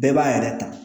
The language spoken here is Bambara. Bɛɛ b'a yɛrɛ ta